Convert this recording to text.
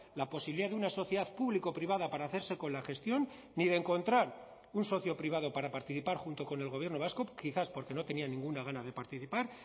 la posibilidad de una sociedad público privada para hacerse con la gestión ni de encontrar un socio privado para participar junto con el gobierno vasco quizás porque no tenía ninguna gana de participar